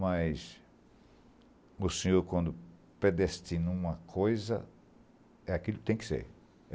Mas o senhor, quando predestina uma coisa, é aquilo que tem que ser.